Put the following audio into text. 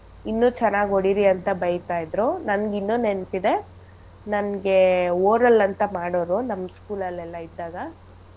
ಇನ್ನೂ ಚೆನ್ನಾಗ್ ಹೊಡಿರಿ ಅಂತ ಬೈತಾಯಿದ್ರು ನನ್ಗಿನ್ನು ನೆನ್ಪಿದೆ ನನ್ಗೆ oral ಅಂತ ಮಾಡೋರು ನಮ್ಗ್ school ಅಲ್ಲೆಲ್ಲ ಇದ್ದಾಗ.